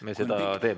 Me seda teeme.